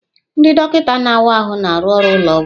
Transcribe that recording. Ndị dọkịta na-awa ahụ na-arụ ọrụ ụlọ ọgwụ.